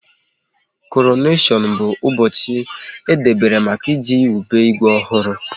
Koroneshon bụ ụbọchị e dobere maka iji wube Igwe ọhụrụ